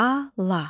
Ala.